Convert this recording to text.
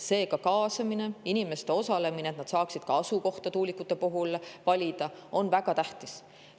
Seega, inimeste osalemine, nende kaasamine, et nad saaksid tuulikute asukohta valida, on väga tähtis.